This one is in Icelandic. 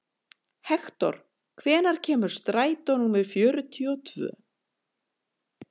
Hektor, hvenær kemur strætó númer fjörutíu og tvö?